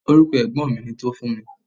Orúkọ ẹ̀gbọ́n mi ni Tofunmi.